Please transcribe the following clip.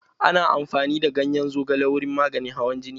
Ana amfani da ganyen zogale wurin maganin hawan jini.